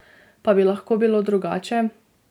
Pa bi lahko bilo drugače?